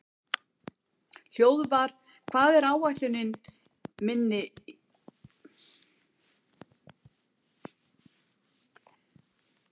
Hróðvar, hvað er á áætluninni minni í dag?